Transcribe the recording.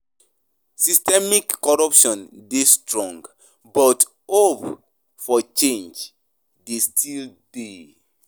Systemic corruption dey strong, but hope for change dey still dey.